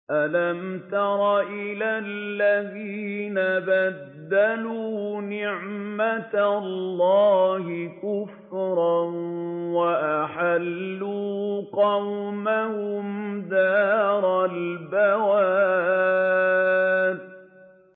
۞ أَلَمْ تَرَ إِلَى الَّذِينَ بَدَّلُوا نِعْمَتَ اللَّهِ كُفْرًا وَأَحَلُّوا قَوْمَهُمْ دَارَ الْبَوَارِ